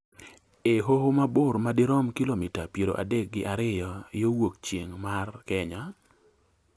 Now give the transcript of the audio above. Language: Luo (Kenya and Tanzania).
e Hoho ma bor madirom kilomita piero adek gi ariyo yo wuok chieng' mar Kenya.